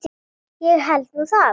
Ég held nú það!